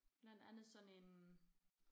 Blandt andet sådan en